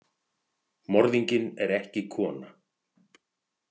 Morðinginn er ekki kona.